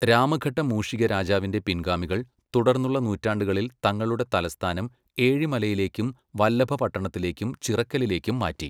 രാമഘട്ട മൂഷിക രാജാവിൻ്റെ പിൻഗാമികൾ തുടർന്നുള്ള നൂറ്റാണ്ടുകളിൽ തങ്ങളുടെ തലസ്ഥാനം ഏഴിമലയിലേക്കും, വലഭപട്ടണത്തിലേക്കും ചിറക്കലിലേക്കും മാറ്റി.